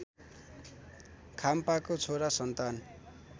खाम्पाको छोरा सन्तान